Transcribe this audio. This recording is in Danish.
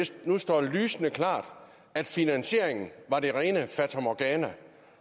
nu står lysende klart at finansieringen var det rene fatamorgana